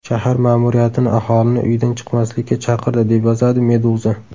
Shahar ma’muriyatini aholini uydan chiqmaslikka chaqirdi, deb yozadi Meduza.